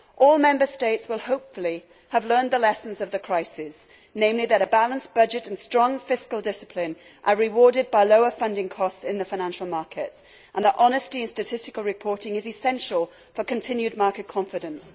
All Member States will hopefully have learned the lessons of the crisis, namely that a balanced budget and strong fiscal discipline are rewarded by lower funding costs in the financial markets, and that honesty in statistical reporting is essential for continued market confidence.